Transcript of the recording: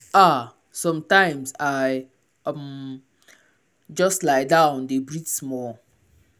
ah sometimes i um just lie down dey breathe small.